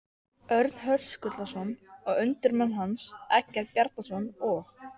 Örn Höskuldsson og undirmenn hans, Eggert Bjarnason og